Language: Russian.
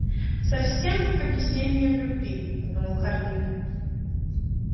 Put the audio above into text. совсем как объяснение в любви подумал хардин